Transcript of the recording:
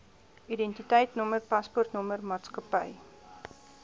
identiteitnommer paspoortnommer maatskappy